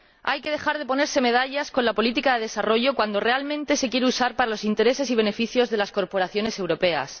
Hay que dejar de ponerse medallas con la política de desarrollo cuando realmente se quiere usar para los intereses y beneficios de las corporaciones europeas.